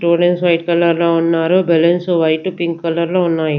To lines white colour లో ఉన్నాయి balloons white pink colour లో ఉన్నాయి.